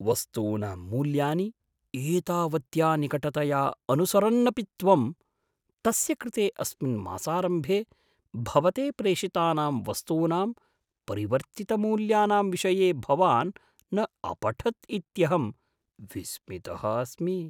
वस्तूनां मूल्यानि एतावत्या निकटतया अनुसरन्नपि त्वं, तस्य कृते अस्मिन् मासारम्भे भवते प्रेषितानां वस्तूनां परिवर्तितमूल्यानां विषये भवान् न अपठत् इत्यहं विस्मितः अस्मि।